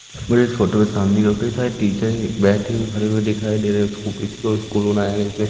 मुझे इस फोटो में सामने कई सारे टीचर है बैठे हुए खड़े हुए दिखाई दे रहे है उसको स्कूल --